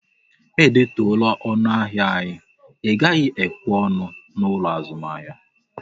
E detuola ọnụ ahịa anyi, Ị gaghị ekwe ọnụ n'ụlọ azụmahịa!